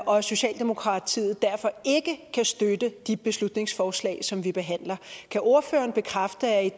og socialdemokratiet derfor ikke kan støtte de beslutningsforslag som vi behandler kan ordføreren bekræfte at